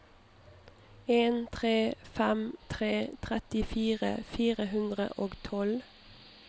en tre fem tre trettifire fire hundre og tolv